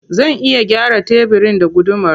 Zan iya gyara tebirin da gudumar.